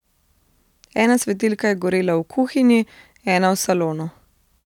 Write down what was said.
Ena svetilka je gorela v kuhinji, ena v salonu.